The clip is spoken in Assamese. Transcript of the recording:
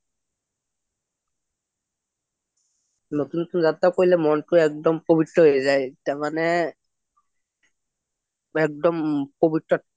নতুন নতুন যাত্ৰা কৰিলে মনটো একদম পৱিত্ৰ হৈ যায় তাৰ মানে একম পৱিত্ৰ